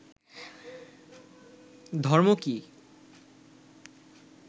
ধর্ম কি